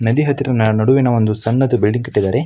ನದಿ ಹತ್ತಿರ ನಡುವಿನ ಒಂದು ಸಣ್ಣದು ಬೆಳ್ಳಿ ಕಟ್ಟಿದ್ದಾರೆ.